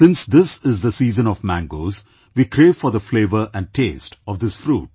Since this is the season of mangoes, we crave for the flavour and taste of this fruit